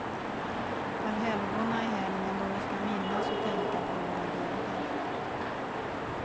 Allhelgona är helgen då vi ska minnas och tänka på våra döda.